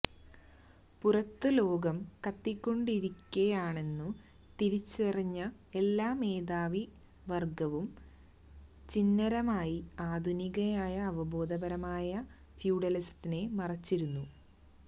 പുറത്ത് ലോകം കത്തിക്കൊണ്ടിരിക്കയാണെന്നു തിരിച്ചറിഞ്ഞ എല്ലാ മേധാവി വര്ഗ്ഗവും ചിഹ്നരമായി ആധുനികനായി അവബോധപരമായ ഫ്യൂഡലിസത്തെ മറച്ചിരുന്നു